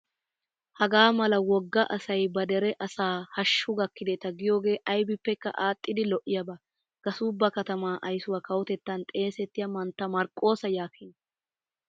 Hagaa mala wogga asayi ba dere asaa haashshu gakkideta giyooge ayibeppekka aadhdhidi lo''iyaaba. Gasuubba katama ayisuwaa kawotettan xeesettiyaa mantta marqqoosa yaakkinaa.